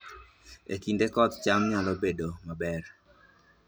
E kinde koth, cham nyalo nyak maber